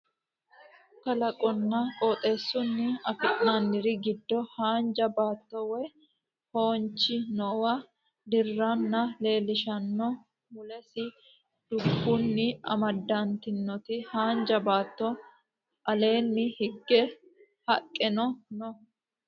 kalaqunna qooxeessunni afi'nanniri giddo haanja baatto waye foonchi noowa dirranna leellishshanno mulesi dubbunni amadantinoti haanja baatoo no aleenni higge haqqeno no